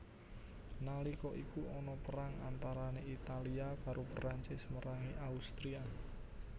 Nalika iku ana perang antarane Italia karo Prancis merangi Austria